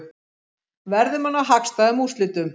Verðum að ná hagstæðum úrslitum